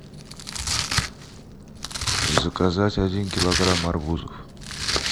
заказать один килограмм арбузов